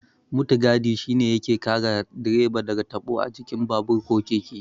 Mutigadi shi ne yake kare direba daga tabo a jikin babur ko keke.